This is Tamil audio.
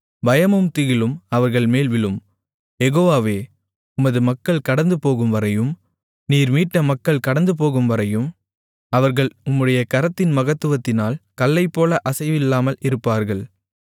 பயமும் திகிலும் அவர்கள்மேல் விழும் யெகோவாவே உமது மக்கள் கடந்துபோகும்வரையும் நீர் மீட்ட மக்கள் கடந்துபோகும்வரையும் அவர்கள் உம்முடைய கரத்தின் மகத்துவத்தினால் கல்லைப்போல அசைவில்லாமல் இருப்பார்கள்